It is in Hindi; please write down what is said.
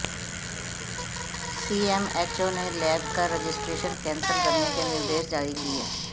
सीएमएचओ ने लैब का रजिस्ट्रेशन कैंसल करने के निर्देश जारी किए